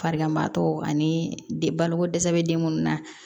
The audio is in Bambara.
Farigantɔ ani baloko dɛsɛ bɛ den minnu na